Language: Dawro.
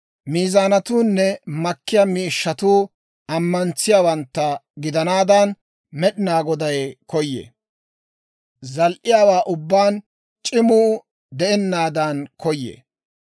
Miizaanatuunne makkiyaa miishshatuu ammantsiyaawantta gidanaadan, Med'inaa Goday koyee; zal"iyaawaa ubbaan c'imuu de'ennaadan koyee.